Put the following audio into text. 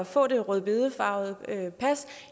få det rødbedefarvede pas